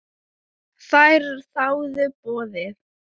Þær þáðu boðið.